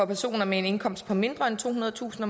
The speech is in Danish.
personer med en indkomst på mindre end tohundredetusind